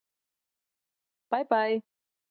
Bæ bæ!